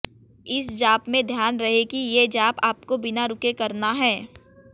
इस जाप में ध्यान रहे कि ये जाप आपको बिना रुके करना है